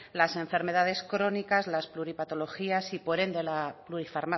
las enfermedades crónicas las pluripatologías y por ende